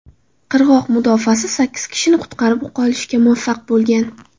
Qirg‘oq mudofaasi sakkiz kishini qutqarib qolishga muvaffaq bo‘lgan.